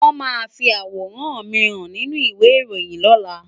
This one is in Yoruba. Wọ́n máa fi àwòrán mi hàn nínú ìwé ìròyìn lọ́la.